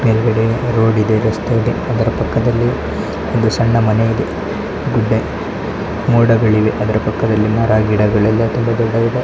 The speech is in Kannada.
ಮೇಲ್ಗಡೆ ರೋಡ್ ಇದೆ ರಸ್ತೆ ಇದೆ ಅದರ ಪಕ್ಕದಲ್ಲಿ ಒಂದು ಸಣ್ಣ ಮನೆ ಇದೆ. ಗುಡ್ಡೆ ಮೋಡಗಳಿವೆ ಅದ್ರ್ ಪಕ್ಕದಲ್ಲಿ ಮರ ಗಿಡಗಳಿವೆ. ತುಂಬಾ ದೊಡ್ಡ ದೊಡ್ಡ --